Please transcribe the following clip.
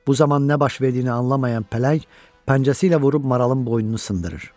Bu zaman nə baş verdiyini anlamayan pələng pəncəsi ilə vurub maralın boynunu sındırır.